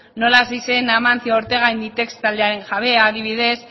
nola hasi zen amancio ortega inditex taldearen jabea adibidez